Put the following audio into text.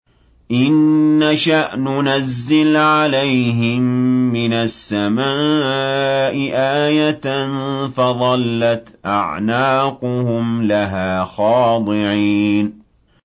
إِن نَّشَأْ نُنَزِّلْ عَلَيْهِم مِّنَ السَّمَاءِ آيَةً فَظَلَّتْ أَعْنَاقُهُمْ لَهَا خَاضِعِينَ